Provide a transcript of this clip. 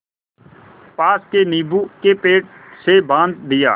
पास के नीबू के पेड़ से बाँध दिया